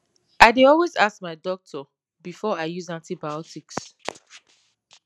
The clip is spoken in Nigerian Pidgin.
i dey always ask my doctor before i use antibiotics